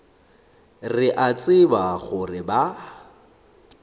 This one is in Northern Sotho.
re a tseba gore ba